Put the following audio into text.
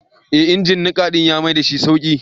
Ee injin niƙa ɗin ya maidashi sauƙi.